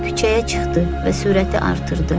Küçəyə çıxdı və sürəti artırdı.